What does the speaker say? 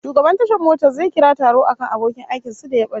Shugaban tashar motar zai kira taro akan abokin aikin su da ya bace